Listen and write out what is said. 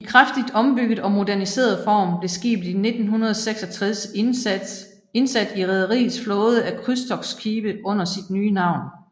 I kraftigt ombygget og moderniseret form blev skibet i 1966 indsat i rederiets flåde af krydstogtskibe under sit nye navn